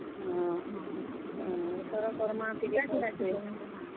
ଅହଁ, ଇଥର କର୍ ମା ଟିକେ ସେ ।